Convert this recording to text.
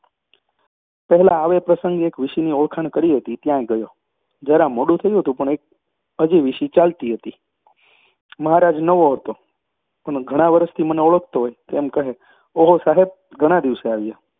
પહેલાં આવે પ્રસંગે એક વીશીની ઓળખાણ કરી હતી ત્યાં ગયો. જરા મોડું થયું હતું પણ હજી વીશી ચાલતી હતી મહારાજ નવો હતો, પણ ઘણાં વરસથી મને ઓળખતો હોય તેમ કહે ઓહો સાહેબ ઘણા દિવસે આવ્યા